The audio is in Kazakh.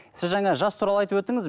сіз жаңа жас туралы айтып өттіңіз